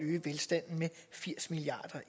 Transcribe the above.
eneste jeg